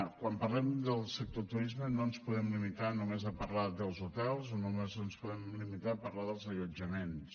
quan parlem del sector de turisme no ens podem limitar només a parlar dels hotels o només ens podem limitar a parlar dels allotjaments